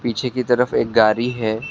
पीछे की तरफ एक गाड़ी है।